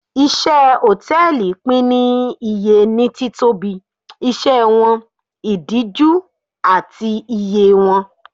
Iṣẹ́ Hòtẹ́lìì pín ní iye ní títóbi, iṣẹ́ wọn, ìdíjú, àti iye wọn.